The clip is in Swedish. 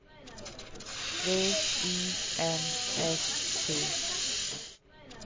V I N S T